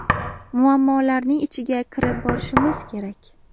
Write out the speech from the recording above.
Muammolarning ichiga kirib borishimiz kerak.